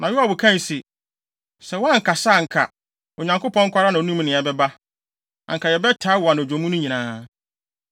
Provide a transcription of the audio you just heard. Na Yoab kae se, “Sɛ woankasa a anka, Onyankopɔn nko ara na onim nea ɛbɛba; anka yɛbɛtaa wo anadwo mu no nyinaa.”